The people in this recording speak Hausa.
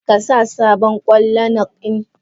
Kasa sabon kwan lanark in?